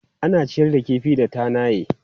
Ana ciyar da kifi da tanaye.